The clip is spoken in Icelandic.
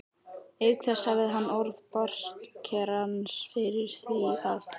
Auk þess hafði hann orð bartskerans fyrir því að